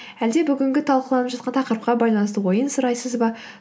әлде бүгінгі талқыланып жатқан тақырыпқа байланысты ойын сұрайсыз ба